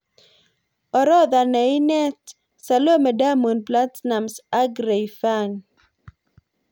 Orotha ne ineet: Salome- Diamond Platnums ak Rayvanny